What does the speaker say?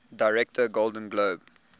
director golden globe